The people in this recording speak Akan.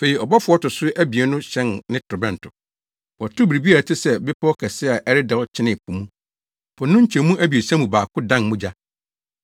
Afei ɔbɔfo a ɔto so abien no hyɛn ne torobɛnto. Wɔtow biribi a ɛte sɛ bepɔw kɛse a ɛredɛw kyenee po mu. Po no nkyɛmu abiɛsa mu baako dan mogya.